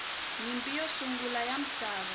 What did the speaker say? nyimpi yo sungula ya misava